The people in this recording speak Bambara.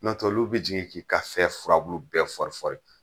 Nɔntɛ olu bɛ jigin k'i ka fɛn furabulu bɛɛ fɔri fɔri.